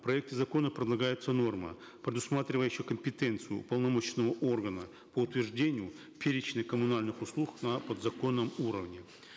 в проекте закона предлагается норма предусматривающая компетенцию уполномоченного органа по утверждению перечня коммунальных услуг на подзаконном уровне